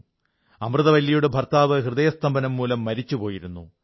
അമൃതവല്ലിയുടെ ഭർത്താവ് ഹൃദയസ്തംഭനം മൂലം മരിച്ചുപോയിരുന്നു